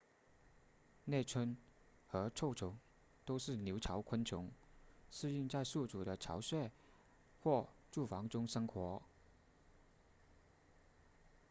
猎蝽和臭虫都是留巢昆虫适应在宿主的巢穴或住房中生活